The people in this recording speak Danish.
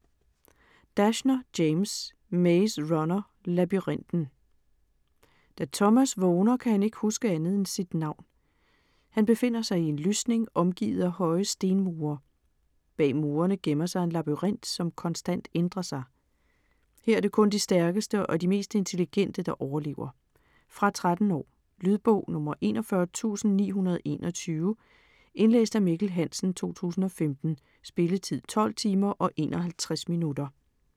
Dashner, James: Maze runner - labyrinten Da Thomas vågner kan han ikke huske andet end sit navn. Han befinder sig i en lysning omgivet af høje stemmure. Bag murerne gemmer sig en labyrint som konstant ændrer sig. Her er det kun de stærkeste og de mest intelligente, der overlever. Fra 13 år. Lydbog 41921 Indlæst af Mikkel Hansen, 2015. Spilletid: 12 timer, 51 minutter.